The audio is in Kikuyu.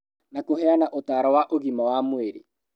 Na kũheana ũtaaro wa ũgima wa mwĩrĩ